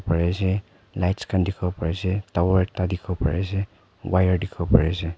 pari ase lights khan dikhi bo pare ase tower ekta dikhi bo pare ase wire dikhibo pare ase.